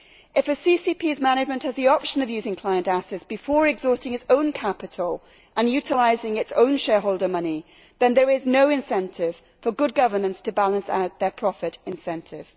If a CCP's management has the option of using client assets before exhausting its own capital and utilising its own shareholder money, then there is no incentive for good governance to balance out their profit incentive.